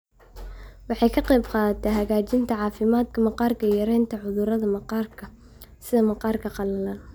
Waxay ka qaybqaadataa hagaajinta caafimaadka maqaarka iyo yaraynta khatarta cudurrada maqaarka sida maqaarka qalalan.